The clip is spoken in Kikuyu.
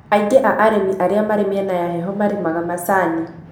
aingĩ a arĩmi aria marĩ mĩena ya heho marĩmanga macini